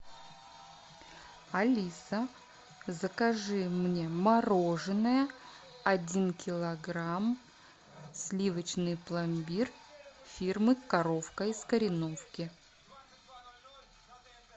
алиса закажи мне мороженое один килограмм сливочный пломбир фирмы коровка из кореновки